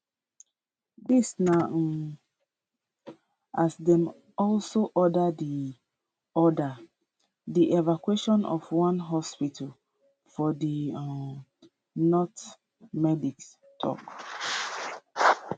dis na um as dem also order di order di evacuation of one hospital for di um north medics tok